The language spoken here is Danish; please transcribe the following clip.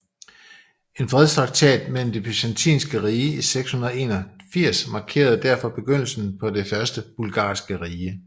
En fredstraktat med det Byzantiske rige i 681 markerede derefter begyndelsen på det første bulgarske rige